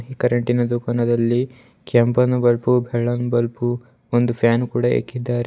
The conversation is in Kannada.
ಕರೆಂಟಿನ ದುಕಾನದಲ್ಲಿ ಕೆಂಪನ ಬಲ್ಪು ಬೆಳ್ಳನ್ ಬಲ್ಪು ಒಂದು ಫ್ಯಾನ್ ಕೂಡ ಇಕ್ಕಿದ್ದಾರೆ.